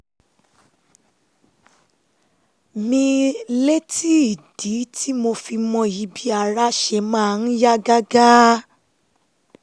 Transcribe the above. mi létí ìdí tí mo fi mọyì bí ara ṣe máa ń yá gágá